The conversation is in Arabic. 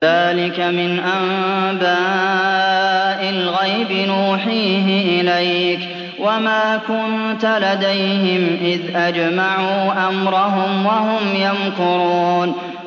ذَٰلِكَ مِنْ أَنبَاءِ الْغَيْبِ نُوحِيهِ إِلَيْكَ ۖ وَمَا كُنتَ لَدَيْهِمْ إِذْ أَجْمَعُوا أَمْرَهُمْ وَهُمْ يَمْكُرُونَ